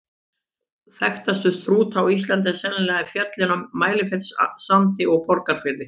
Þekktastir Strúta á Íslandi eru sennilega fjöllin á Mælifellssandi og í Borgarfirði.